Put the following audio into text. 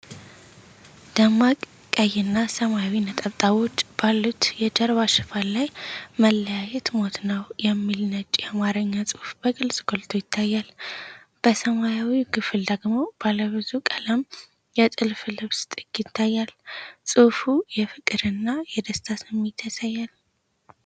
ደማቅ ቀይና ሰማያዊ ነጠብጣቦች ባሉት የጀርባ ሽፋን ላይ "መለያየት ሞት ነው" የሚለው ነጭ የአማርኛ ጽሑፍ በግልጽ ጎልቶ ይታያል። በሰማያዊው ክፍል ደግሞ ባለ ብዙ ቀለም የጥልፍ ልብስ ጥግ ይታያል። ጽሑፉ የፍቅርና የደስታ ስሜት ያሳያል።